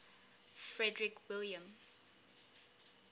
frederick william